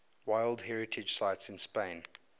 world heritage sites in spain